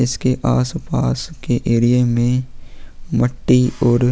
इसके आस पास के एरिये में मट्टी और --